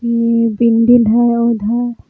ई building हई उधर --